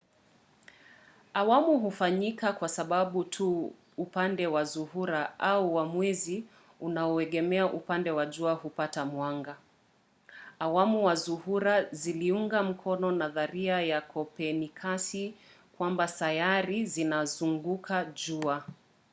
awamu hufanyika kwa sababu tu upande wa zuhura au wa mwezi unaoegemea upande wa jua hupata mwanga. awamu za zuhura ziliunga mkono nadharia ya kopernikasi kwamba sayari zinazunguka jua